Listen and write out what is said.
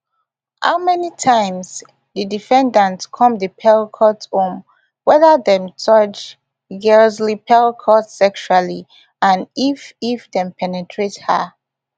how many times di defendants come di pelicot home weda dem touch gisle pelicot sexually and if if dem penetrate her